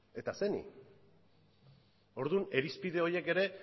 eta zeini orduan irizpide horiek ere